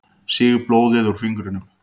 Sýg blóðið úr fingrinum.